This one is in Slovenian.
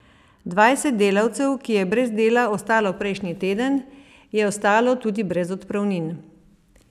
Dvajset delavcev, ki je brez dela ostalo prejšnji teden, je ostalo tudi brez odpravnin.